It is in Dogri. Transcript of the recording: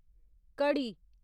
घड़ी